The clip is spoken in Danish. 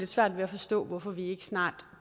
svært ved at forstå hvorfor vi ikke snart